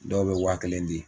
Dɔw bɛ waa kelen di.